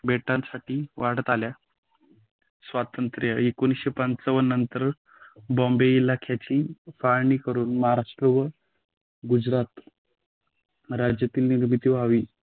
बेटासाठी वाढत आल्या. स्वातंत्र्य एकोणीसशे पंचावन्न नंतर बॉम्बे इलाकाची फाळणी करून महाराष्ट्र व गुजरात राज्यातील निर्मिती व्हावी